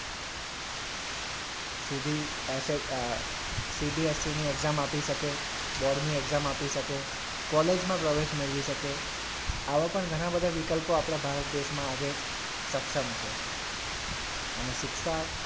CBS અ CBSE ની exam આપી શકે board ની exam આપી શકે college માં પ્રવેશ મેળવી શકે આવા પણ ઘણાં બધાં વિકલ્પો આપડા ભારત દેશમાં આજે સક્ષમ છે અને શિક્ષા,